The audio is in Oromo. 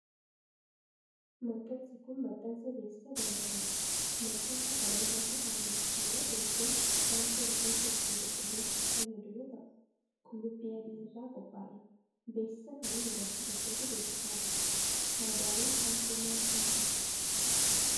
Maxxansi kun, maxxansa beeksisa daldalaati. Maxxansa kana irratti kan bebeeksifamaa jiru kun, shaampoo rifeensa ittiin qulqulleessuuf fayyadu yoo ta'u, qullubbii adii irraa qophaa'e. Beeksisa kana ,dubartii tokkotu bebeeksisaa jira. Faayidaaleen shaampoo, maal faa dha?